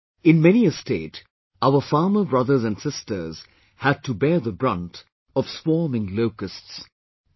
In many a state, our farmer brothers and sisters had to bear the brunt of swarming locusts...